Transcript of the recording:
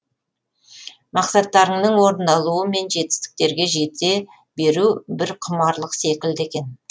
мақсаттарыңның орындалуы мен жетістіктерге жете беру бір құмарлық секілді екен